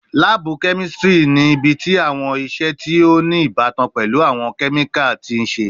Laabu kemistri ni ibiti awọn iṣe ti o ni ibatan pẹlu awọn kemikali ti n ṣe